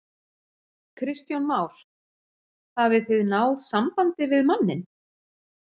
Kristján Már: Hafið þið náð sambandi við manninn?